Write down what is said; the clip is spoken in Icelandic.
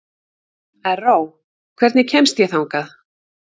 Erró, hvernig kemst ég þangað?